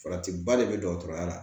Farati ba de bɛ dɔgɔtɔrɔya la